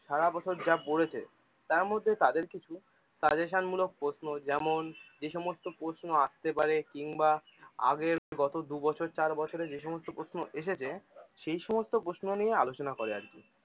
সারাবছর যা পড়েছে তার মধ্যে তাদের থেকে suggestion মুলক প্রশ্ন যেমন যে সমস্ত প্রশ্ন আসতে পারে কিংবা আগের গত দুবছর চারবছরে যে সমস্ত প্রশ্ন এসেছে সেই সমস্ত প্রশ্ন নিয়ে আলোচনা করে আর কি